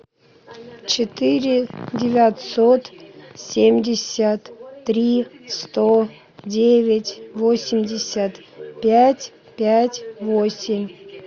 четыре девятьсот семьдесят три сто девять восемьдесят пять пять восемь